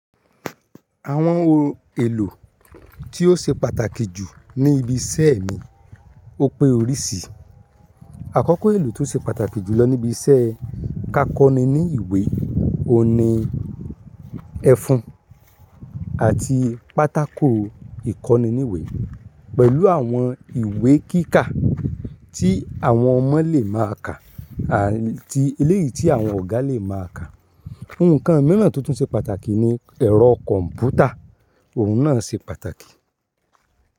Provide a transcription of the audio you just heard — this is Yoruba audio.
Àwọn ohun èlò tí ó ṣe pàtàkì jù ní ibi iṣẹ́ mi, ó pé orísìí. Àkọ́kọ́ èlò tó ṣe pàtàkì jù lọ níbi iṣẹ́ ká kọ́ni ní ìwé, òun ni ẹfun àti pátákò ìkọ́ni ní ìwé pẹ̀lú àwọn ìwé kíkà tí àwọn ọmọ lè máa ka àti eléyìí tí àwọn ọ̀gá lè máa ka. Ohun kan mìíràn tó tún ṣe pàtàkì ni ẹ̀rọ kọ̀ǹpútà, òun náà ṣe pàtàkì.